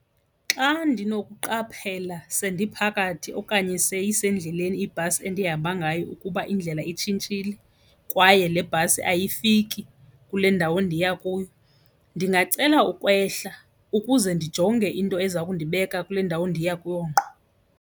Xa ndinokuqaphela sendiphakathi okanye seyisendleleni ibhasi endihamba ngayo ukuba indlela itshintshile kwaye le bhasi ayifiki kule ndawo ndiya kuyo, ndingacela ukwehla ukuze ndijonge into eza kundibeka kule ndawo ndiya kuyo ngqo.